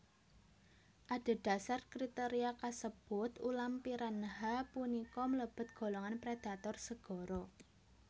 Adhedhasar kriteria kasebut ulam piranha punika mlebet golongan predator segara